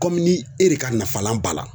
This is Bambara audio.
Komi e de ka nafalan b'a la